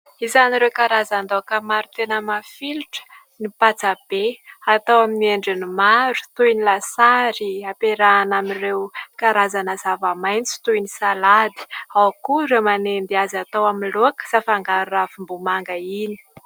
Isan'ireo karazan-daoka maro tena mafilotra ny patsa be, atao amin'ny endriny maro toy ny lasary, ampiarahana amin'ireo karazana zava-maitso toy ny salady, ao koa ireo manendy azy atao amin'ny laoka sy afangaro ravim-bomanga iny.